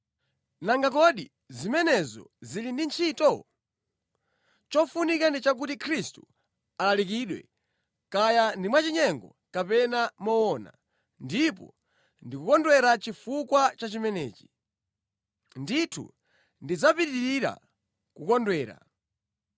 Nanga kodi zimenezo zili ndi ntchito? Chofunika ndi chakuti Khristu alalikidwe, kaya ndi mwachinyengo kapena moona. Ndipo ndikukondwera chifukwa cha chimenechi. Ndithu, ndidzapitirira kukondwera,